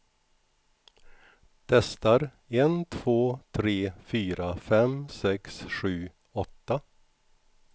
Testar en två tre fyra fem sex sju åtta.